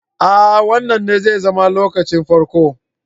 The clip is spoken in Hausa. Aa Wannan ne zai zama lokacin farko.